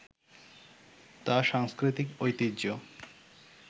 তা সাংস্কৃতিক ঐতিহ্য